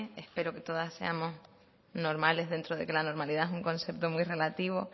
espero que todas seamos normales dentro de que la normalidad es un concepto muy relativo